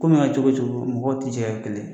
Ko ma kɛ cogo o cogo mɔgɔw tɛ jɛ ka kɛ kelen ye